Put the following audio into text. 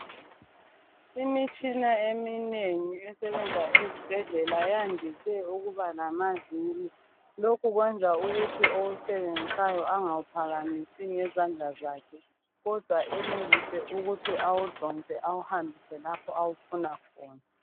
Imitshina eminengi esebenza ezibhedlela yandise ukuba lamaviri lokhu kwenza ukuthi osebenzisayo angaphakamisi ngezandla zakhe kodwa enelise ukuthi awudonse awuhambise lapho abawufuna khona.